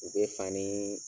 U be fanii